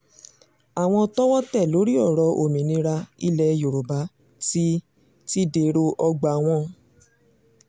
àwọn tọ́wọ́ tẹ̀ lórí ọ̀rọ̀ òmìnira ilẹ̀ yorùbá ti ti dèrò ọgbà wọn